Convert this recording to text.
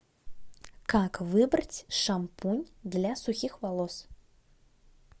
как выбрать шампунь для сухих волос